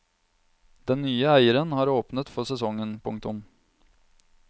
Den nye eieren har åpnet for sesongen. punktum